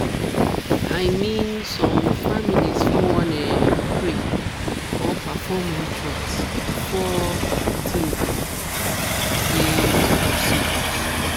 i mean some families fit wan um pray or perform rituals before de tin be um say procedures.